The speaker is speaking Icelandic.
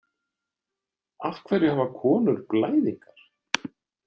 Af hverju hafa konur blæðingar?